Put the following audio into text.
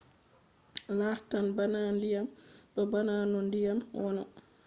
lartan bana ndiyam. ɗo bana no ndiyam wono